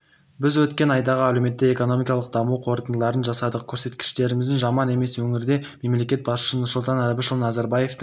біз өткен айдағы әлеуметтік-экономикалық даму қорытындыларын жасадық көрсеткіштеріміз жаман емес өңірде мемлекет басшысы нұрсұлтан әбішұлы назарбаевтың